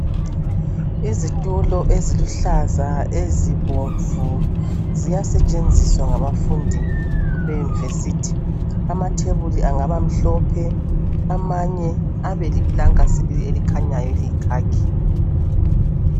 Izitulo eziluhlaza ezibomnvu ziyasetshenziswa ngabafundi yeyunivesithi ,amathebuli angabamhlophe amanye sibili abeliplanka eliyikhakhi .